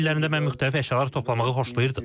Məktəb illərində mən müxtəlif əşyalar toplamağa xoşlayırdım.